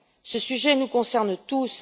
Ce sujet nous concerne tous.